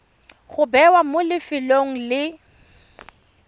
go bewa mo lefelong le